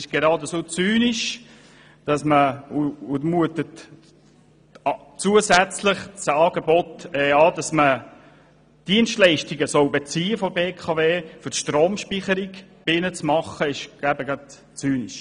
Geradezu zynisch mutet das Angebot an, dass man von der BKW Dienstleistungen für die Stromspeicherung beziehen soll.